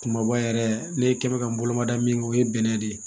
Kumaba yɛrɛ ne kɛ mɛ ka n bolo mada min kɛ o ye bɛnɛ de ye